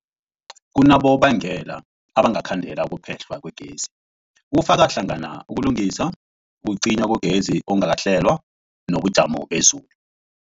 Kunabonobangela abangakhandela ukuphehlwa kwegezi, kufaka hlangana ukulungisa, ukucinywa kwegezi okungakahlelwa, nobujamo bezulu.